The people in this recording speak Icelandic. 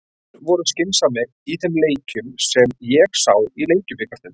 Menn voru skynsamir í þeim leikjum sem ég sá í Lengjubikarnum.